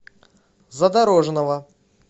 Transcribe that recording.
задорожного